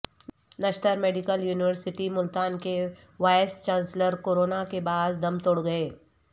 نشتر medical university Multan کے vice chancellor corona کے باعث دم توڑ گئے